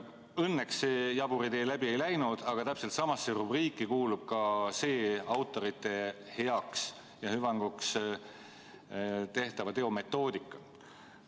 Õnneks see jabur idee läbi ei läinud, aga täpselt samasse rubriiki kuulub ka see autorite heaks ja hüvanguks tehtava teo metoodika.